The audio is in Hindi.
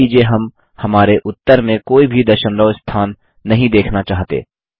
अब मान लीजिये हम हमारे उत्तर में कोई भी दशमलव स्थान नहीं देखना चाहते